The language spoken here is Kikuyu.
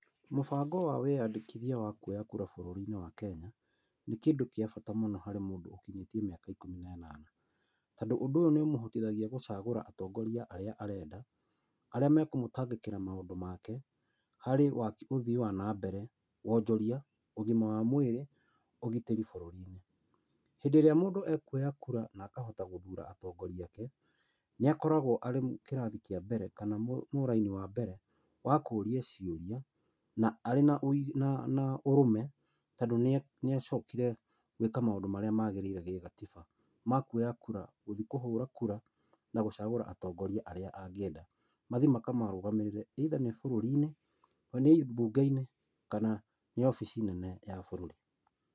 Mũbango ũyũ wa wĩandĩithia wa kuoya kura bũrũri-inĩ wa Kenya, nĩ kĩndũ gĩa bata mũno harĩ mũndũ ũkinyĩtie mĩaka ikũmi na ĩnana. Tondũ ũndũ ũyũ nĩ ũmũhotithagia gũcagũra atongoria arĩa arenda, aría makũmũtangĩkĩra na maũndũ make, harĩ waki, ũthii wa na mbere, wonjori, ũgima wa mwĩrĩ , ũgitĩri bũrũri-inĩ. Hĩndĩ ĩrĩa mũndũ ekuoya kura na akahota gũthura atongoria ake, nĩakoragwo arĩ kĩrathi kĩa mbere kana mũraini wa mbere wa kũria ciũrĩa arĩ na na na ũrũme tondũ nĩacokire gwĩka maũndũ marĩa magĩrĩire gĩ gatiba, ma kuoya kura, gũthiĩ kuhũra kura na gũcagũra atongoria arĩa angĩnda mathiĩ makamũrũgamĩrĩre, either nĩ búrũri-inĩ, nĩ mbunge-inĩ kana nĩ wobici nene ya bũrũri.